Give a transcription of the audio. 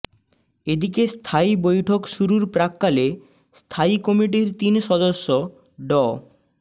এদিকে স্থায়ী বৈঠক শুরুর প্রাক্কালে স্থায়ী কমিটির তিন সদস্য ড